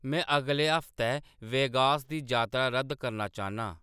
में अगले हफ्तै वेगास दी जातरा रद्द करना चाह्नना आं